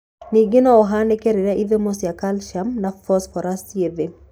Ningĩ no ũhanĩke rĩrĩa ithimo cia calcium na phosphorus ci thĩ.